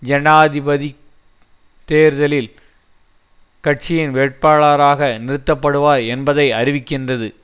ஜனாதிபதி தேர்தலில் கட்சியின் வேட்பாளராக நிறுத்தப்படுவார் என்பதை அறிவிக்கின்றது